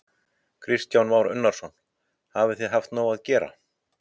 Kristján Már Unnarsson: Hafið þið haft nóg að gera?